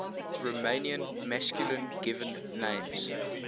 romanian masculine given names